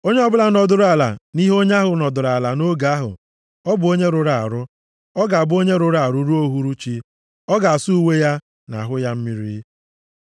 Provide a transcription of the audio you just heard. Onye ọbụla nọdụrụ ala nʼihe onye ahụ nọdụrụ ala nʼoge ahụ ọ bụ onye rụrụ arụ, ga-abụ onye rụrụ arụ ruo uhuruchi. Ọ ga-asa uwe ya, na ahụ ya mmiri.